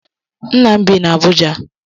Ńnà m bị n'Abuja.